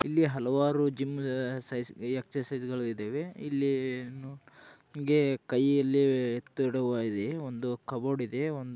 ಅಲ್ಲಿ ಹಲವಾರು ಜಿಮ್ ಸಾಮಾನವುಗಳು ಇವೆ ಇಲ್ಲಿ ಕೈಲಿ ಒಂದು ಕಾಬೋರ್ಡ ಇದೆ .